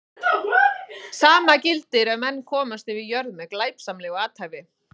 Sama gildir ef menn komast yfir jörð með glæpsamlegu athæfi.